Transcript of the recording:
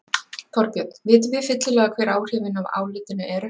Þorbjörn, vitum við fyllilega hver áhrifin af álitinu eru?